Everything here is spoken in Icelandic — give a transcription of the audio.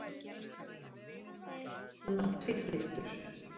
Hann var tvígiftur.